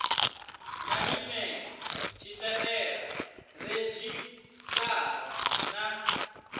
na nyimele tshitaela redzhisṱara na